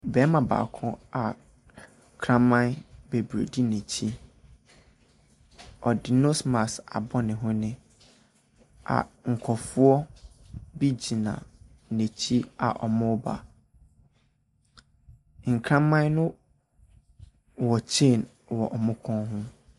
Nnipadɔm bi wɔ dwa so a wɔtredi gua. Ebi yɛ mmaa. Ɛna ebi no yɛ mmarima. Obi ahyehɛ mpaboa wɔ table so a ɔretɔn. Store bi nso wɔ wɔn anim hɔ.